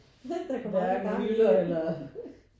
Der kommer jo ikke gang i den